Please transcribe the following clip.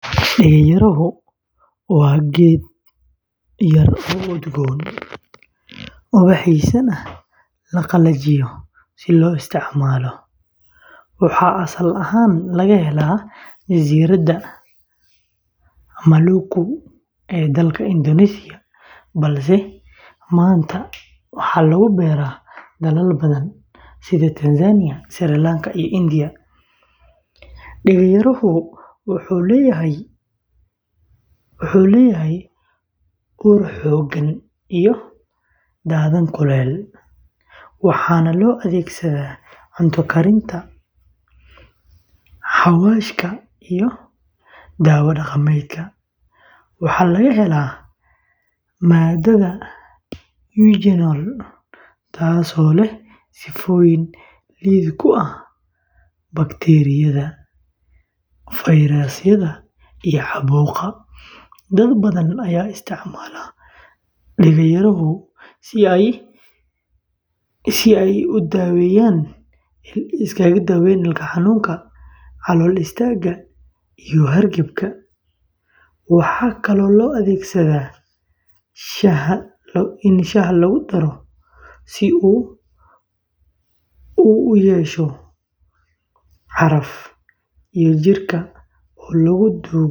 Deega yarahu waa geed yar oo udgoon, ubaxdiisana la qalajiyo si loo isticmaalo. Waxaa asal ahaan laga helaa Jasiiradaha Maluku ee dalka Indonesia, balse maanta waxaa lagu beeraa dalal badan sida Tanzania, Sri Lanka, iyo India. Deega yarahu wuxuu leeyahay ur xooggan iyo dhadhan kulul, waxaana loo adeegsadaa cunto karinta, xawaashka, iyo daawo dhaqameedka. Waxaa laga helaa maadada eugenol, taasoo leh sifooyin lid ku ah bakteeriyada, fayrasyada, iyo caabuqa. Dad badan ayaa isticmaala qaranfuulka si ay u daaweeyaan ilko xanuunka, calool istaagga, iyo hargabka. Waxaa kaloo loo adeegsadaa shaaha lagu daro si uu u ur yeesho iyo jirka.